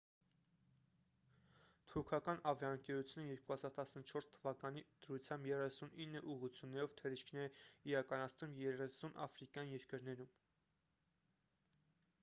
թուրքական ավիաընկերությունը 2014 թվականի դրությամբ 39 ուղղություններով թռիչքներ է իրականացնում 30 աֆրիկյան երկրներում